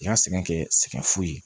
I ka sɛgɛn kɛ sɛgɛn fu ye